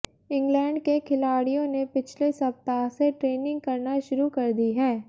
England के खिलाड़ियों ने पिछले सप्ताह से ट्रेनिंग करना शुरू कर दी है